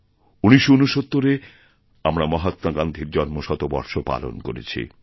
১৯৬৯এ আমরা মহাত্মা গান্ধীর জন্মশতবর্ষপালন করেছি